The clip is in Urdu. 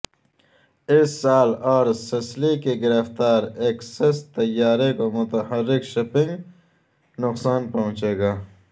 اس سال اور سسلی کی گرفتاری ایکسس طیارے کو متحرک شپنگ نقصان پہنچے گا